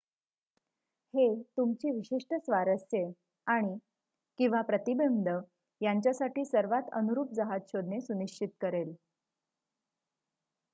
हे तुमची विशिष्ट स्वारस्ये आणि/किंवा प्रतिबंध यांच्यासाठी सर्वात अनुरूप जहाज शोधणे सुनिश्चित करेल